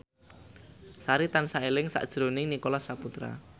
Sari tansah eling sakjroning Nicholas Saputra